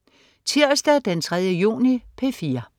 Tirsdag den 3. juni - P4: